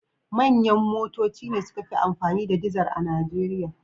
Manyan motoci ne suka fi amfani da dizar a Nijeriya.